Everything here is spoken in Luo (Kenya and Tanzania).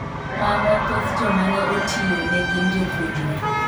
Kata kamano, thoth joma ne otiyo ne gin jopuonjre.